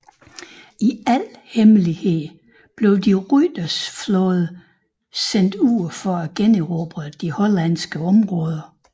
I al hemmelighed blev de Ruyters flåde sendt ud for at generobre de hollandske områder